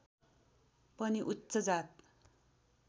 पनि उच्च जात